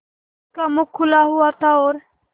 उसका मुख खुला हुआ था और